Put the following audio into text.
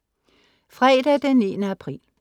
Fredag den 9. april